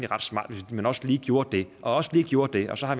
ret smart hvis man også lige gjorde det og også lige gjorde det og så har